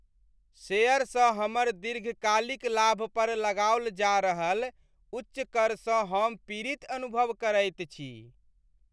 शेयरसँ हमर दीर्घकालिक लाभपर लगाओल जा रहल उच्च करसँ हम पीड़ित अनुभव करैत छी।